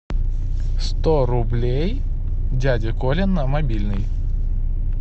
сто рублей дяде коле на мобильный